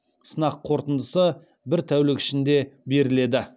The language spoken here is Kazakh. сынақ қорытындысы бір тәулік ішінде беріледі